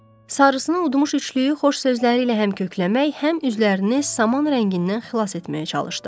Sarısını udmuş üçlüyü xoş sözləri ilə həmkökləmək, həm üzlərini saman rəngindən xilas etməyə çalışdı.